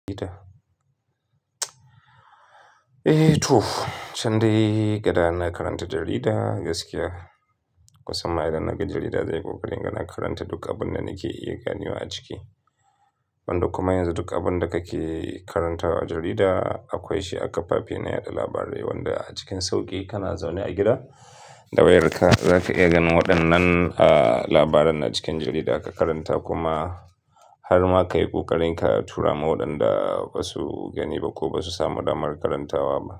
Eh to, can dai gadana karanta jarida, gaskiya. Kusan ma idan naga jarida zai yi ƙoƙari in ga na karanta duk abin da nake iya ganewa a ciki. Wando kuma yanzu duk abin da kake karantawa a jarida akwai shi a kafafen yada labarai, wanda a cikin sauƙi kana zaune a gida da wayarka zaka iya ganin waɗannan, ah, labaran na cikin jarida ka karanta kuma har ma ka yi ƙoƙarin ka tura ma waɗanda ba su gani ba ko ba su samu damar karantawa ba.